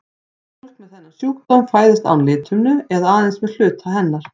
Fólk með þennan sjúkdóm fæðist án lithimnu eða aðeins með hluta hennar.